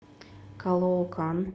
калоокан